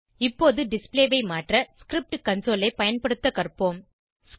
இப்போது டிஸ்ப்ளே ஐ மாற்ற ஸ்கிரிப்ட் கன்சோல் ஐ பயன்படுத்த கற்போம்